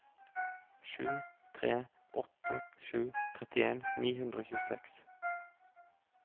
sju tre åtte sju trettien ni hundre og tjueseks